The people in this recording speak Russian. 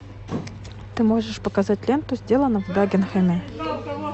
ты можешь показать ленту сделано в дагенхэме